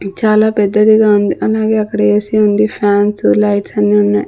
చాలా పెద్దదిగా ఉంది అలాగే అక్కడ ఏసీ ఉంది ఫ్యాన్స్ లైట్స్ అన్ని ఉన్నాయి.